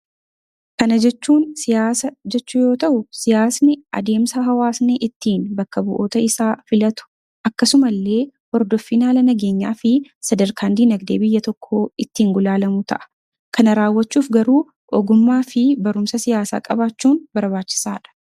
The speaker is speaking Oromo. Kana jechuun siyaasa jechuu yoo ta'u, siyaasni adeemsa hawaasni ittiin bakka bu'oota isaa filatu akkasuma illee hordoffiin haala nageenyaa fi sadarkaan diinagdee biyya tokkoo ittiin gulaalamu ta'a. Kana raawwachuuf garuu, ogummaa fi barumsa siyaasaa qabaachuun barbaachisaa dha.